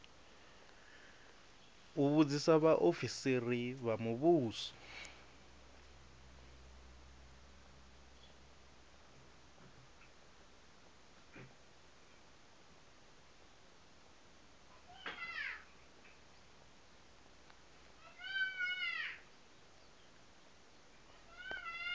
u vhudzisa vhaofisiri vha muvhuso